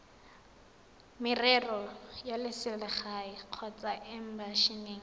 merero ya selegae kgotsa embasing